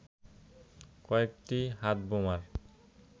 কয়েকটি হাতবোমার